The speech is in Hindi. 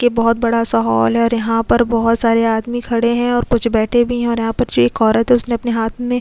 ये बहुत बड़ा सा हॉल है और यहां पर बहुत सारे आदमी खड़े हैं और कुछ बैठे भी हैं और यहां पर जो एक औरत है उसने अपने हाथ में --